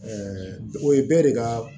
o ye bɛɛ de ka